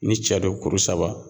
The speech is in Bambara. Ni cɛ do kuru saba